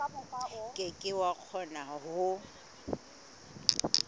ke ke wa kgona ho